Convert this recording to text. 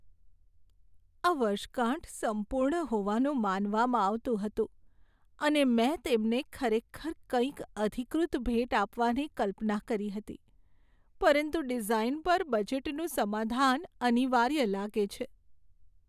આ વર્ષગાંઠ સંપૂર્ણ હોવાનું માનવામાં આવતું હતું, અને મેં તેમને ખરેખર કંઈક અધિકૃત ભેટ આપવાની કલ્પના કરી હતી. પરંતુ ડિઝાઈન પર બજેટનું સમાધાન અનિવાર્ય લાગે છે.